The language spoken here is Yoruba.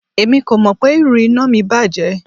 Emi ko mọ pe iru ina mi bajẹ